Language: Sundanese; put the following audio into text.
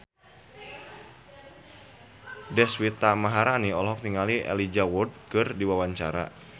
Deswita Maharani olohok ningali Elijah Wood keur diwawancara